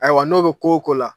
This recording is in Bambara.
Ayiwa n'o bɛ ko o ko la